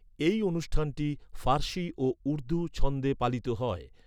এই অনুষ্ঠানটি ফারসি ও উর্দু ছন্দে পালিত হয়।